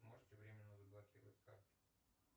можете временно заблокировать карту